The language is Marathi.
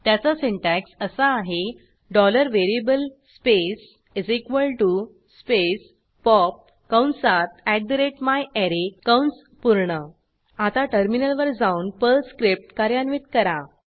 त्याचा सिन्टॅक्स असा आहे variable स्पेस स्पेस पॉप कंसात myArray कंस पूर्ण आता टर्मिनलवर जाऊन पर्ल स्क्रिप्ट कार्यान्वित करा